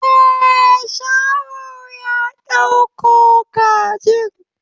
Eh, shaho ya dauko kajin.